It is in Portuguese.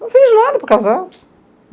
Não fiz nada para casar.